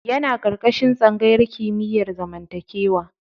Yana ƙarƙashin tsangayar kimiyar zamantakewa.